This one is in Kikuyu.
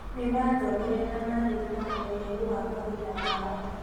Nĩmaathomeire na marĩ na ũmenyeru wa mawĩra mao